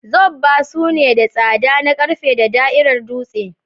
Zobba suna da tsada na ƙarfe da da'irar dutse.